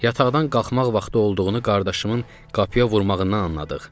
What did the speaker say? Yataqdan qalxmaq vaxtı olduğunu qardaşımın qapıya vurmağından anladıq.